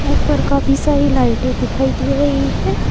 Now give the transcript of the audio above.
ऊपर काफी सारी लाइटें दिखाई दे रही है।